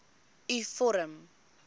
u vorm